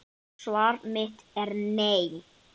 Svar mitt er nei.